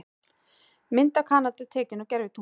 Mynd af Kanada tekin úr gervitungli.